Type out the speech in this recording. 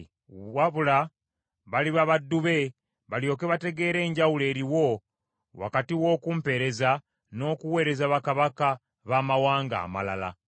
Wabula baliba baddu be, balyoke bategeere enjawulo eriwo wakati w’okumpeereza n’okuweereza bakabaka baamawanga amalala.”